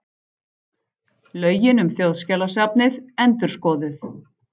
Lögin um Þjóðskjalasafnið endurskoðuð